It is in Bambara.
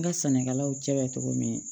N ka sannikɛlaw cɛ bɛ cogo min